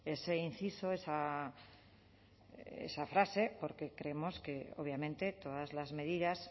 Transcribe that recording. ese inciso esa frase porque creemos que obviamente todas las medidas